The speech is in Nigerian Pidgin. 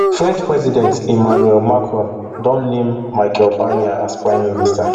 french president emmanuel macron don name michel barnier as prime minister